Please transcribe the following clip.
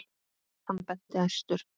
Hann benti æstur.